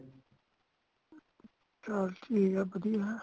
ਚਾਲ ਠੀਕ ਹੇ ,ਵਧੀਆ ਹੈ।